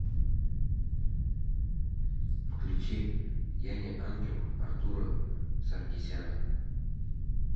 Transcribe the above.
включи я не ангел артура саркисяна